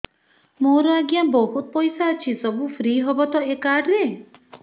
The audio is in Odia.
ମୋର ଆଜ୍ଞା ବହୁତ ପଇସା ଅଛି ସବୁ ଫ୍ରି ହବ ତ ଏ କାର୍ଡ ରେ